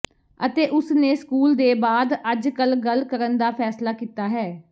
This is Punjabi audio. ਅਤੇ ਉਸ ਨੇ ਸਕੂਲ ਦੇ ਬਾਅਦ ਅੱਜਕੱਲ੍ਹ ਗੱਲ ਕਰਨ ਦਾ ਫੈਸਲਾ ਕੀਤਾ ਹੈ